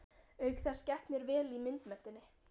Auk þess gekk mér vel í myndmenntinni.